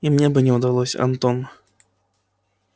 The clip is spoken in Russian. и мне бы не удалось антон